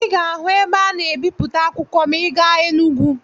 Ị ga-ahụ ebe a na-ebipụta akwụkwọ ma ị gaa Enugwu.